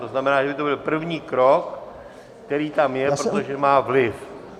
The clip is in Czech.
To znamená, že by to byl první krok, který tam je, protože má vliv.